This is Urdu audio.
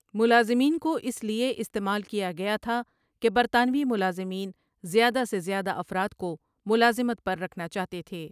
ملازمین کو اس لئے استعمال کیا گیا تھا کہ برطانوی ملازمین زیادہ سے زیادہ افراد کو ملازمت پر رکھنا چاہتے تھے